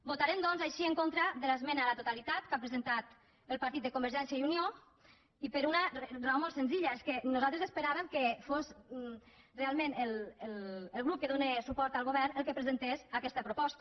votarem doncs així en contra de l’esmena a la totalitat que ha presentat el partit de convergència i unió i per una raó molt senzilla és que nosaltres esperàvem que fos realment el grup que dóna suport al govern el que presentés aquesta proposta